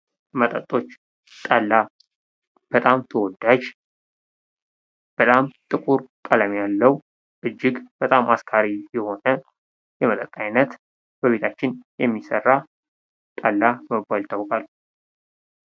መጠጦች ጠላ በጣምተወዳጅ በጣም ጥቁር ቀለም ያለዉ እጅግ በጣም አስካሪ የሆነ የመጠጥ አይነት በቤታችን የሚሰራ ጠላ በመባል ይታወቃል።